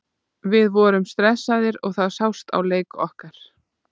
Við vorum stressaðir og það sást á leik okkar.